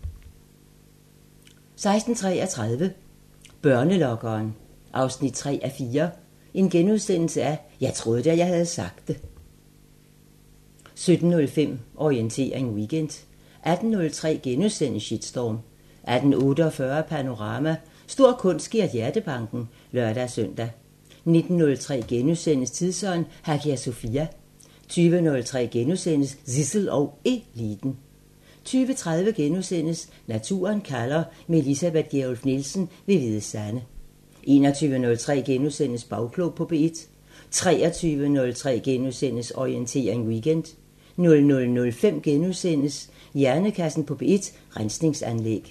16:33: Børnelokkeren 3:4 – Jeg troede, jeg havde sagt det * 17:05: Orientering Weekend 18:03: Shitstorm * 18:48: Panorama: Stor kunst giver hjertebanken (lør-søn) 19:03: Tidsånd – Hagia Sophia * 20:03: Zissel og Eliten * 20:30: Naturen kalder – med Elisabeth Gjerluff Nielsen ved Hvide Sande * 21:03: Bagklog på P1 * 23:03: Orientering Weekend * 00:05: Hjernekassen på P1: Rensningsanlæg *